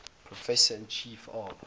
professor and chief of